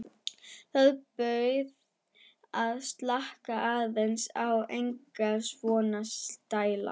Bað þau að slaka aðeins á, enga svona stæla!